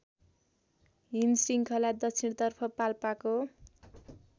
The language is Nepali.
हिमशृङ्खला दक्षिणतर्फ पाल्पाको